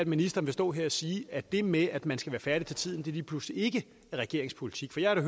ministeren vil stå her og sige at det med at man skal være færdig til tiden lige pludselig ikke er regeringens politik for jeg har da